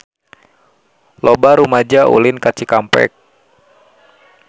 Loba rumaja ulin ka Cikampek